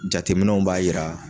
Jateminɛw b'a yira